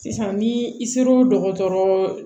Sisan ni i ser'o dɔgɔtɔrɔ